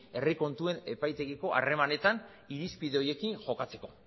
herri kontuen epaitegiko harremanetan irizpide horiekin jokatzeko